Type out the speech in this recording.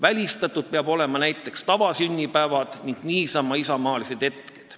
Välistatud peaks olema näiteks tavasünnipäevad ja niisama isamaalised hetked.